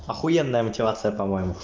ахуенная мотивация по моему